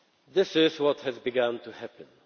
This is what has begun to happen.